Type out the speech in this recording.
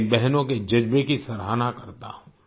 मैं इन बहनों के जज़्बे की सराहना करता हूँ